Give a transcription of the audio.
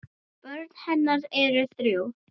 Börn hennar eru þrjú.